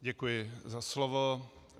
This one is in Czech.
Děkuji za slovo.